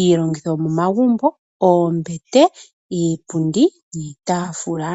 iilongitho yomomagumbo, oombete, iipundi niitafula.